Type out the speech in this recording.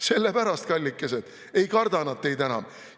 Sellepärast, kallikesed, ei karda nad teid enam.